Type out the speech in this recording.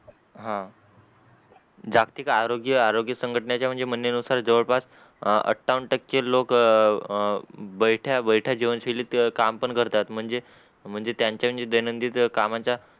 हा जागतिक आरोग्य आरोग्य संघटनेचे म्हणजे म्हणे नुसार जवळ पास आठावन टके लोक अ अ बैठया बैठया जीवन शैलीत काम पण करतात म्हणजे म्हणजे त्यांचा दैनंदिन कामाचा